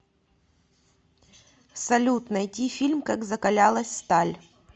салют найти фильм как закалялась сталь